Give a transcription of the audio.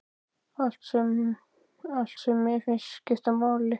Allt sem mér fannst skipta máli.